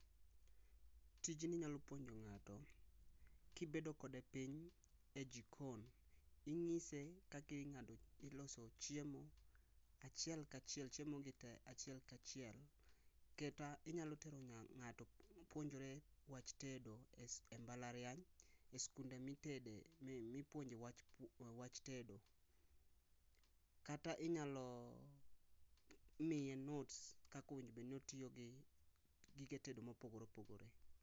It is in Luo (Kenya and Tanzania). Tijni i nyalo puonje ngato ka i bedo kod piny e jikon ingise kaka iloso chiemo chiel ka chiel kata inyalo tero ngato puonjore wach tedo e mbala riany e skunde mi tede mi puonje wach tedo kata inyalo miye notes kaka o winjo bed ni otiyo gi gige tedo ma opogore opogore